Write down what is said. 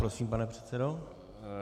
Prosím, pane předsedo.